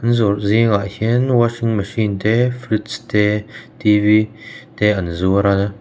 zawrh zingah hian washing machine te fridge te te an zuar a.